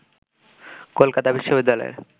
Kolkata বিশবিদ্যালয়ে